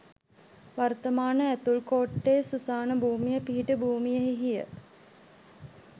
වර්තමාන ඇතුල් කෝට්ටේ සුසාන භූමිය පිහිටි භූමියෙහිය.